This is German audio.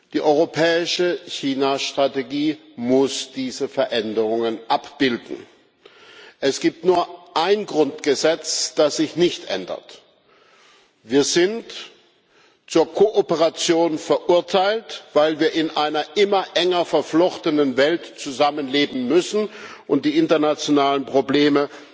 Die europäische China Strategie muss diese Veränderungen abbilden. Es gibt nur ein Grundgesetz, das sich nicht ändert Wir sind zur Kooperation verurteilt, weil wir in einer immer enger verflochtenen Welt zusammenleben und die internationalen Probleme